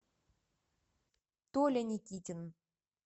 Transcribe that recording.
толя никитин